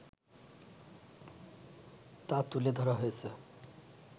তা তুলে ধরা হয়েছে